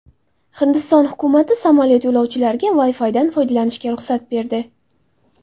Hindiston hukumati samolyot yo‘lovchilariga Wi-Fi’dan foydalanishga ruxsat berdi.